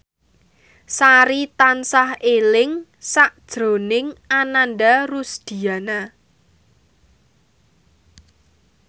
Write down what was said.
Sari tansah eling sakjroning Ananda Rusdiana